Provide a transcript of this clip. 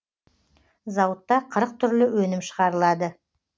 зауытта қырық түрлі өнім шығарылады